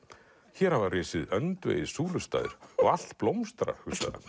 hér hafa risið öndvegis súlustaðir og allt blómstrar